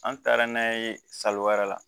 An taara n'a ye sali wɛrɛ la